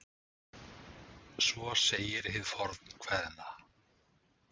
Svo segir hið fornkveðna.